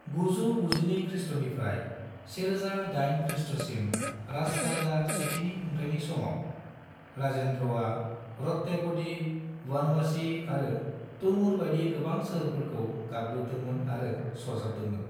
992 ख्रीष्ट'निफ्राय 1008 ख्रीष्ट'सिम राजराजा सेथिनि खुंथायनि समाव, राजेन्द्रआ रत्तेपदी, बनवासी आरो तनूर बायदि गोबां सोहोरफोरखौ गाग्लोबदोंमोन आरो सरजाबदोंमोन।